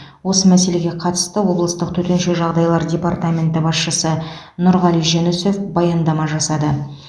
осы мәселеге қатысты облыстық төтенше жағдайлар департаменті басшысы нұрғали жүнісов баяндама жасады